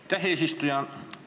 Aitäh, eesistuja!